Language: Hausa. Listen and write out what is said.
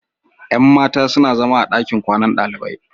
Yan matan suna zama a gidan kwanan dalibai.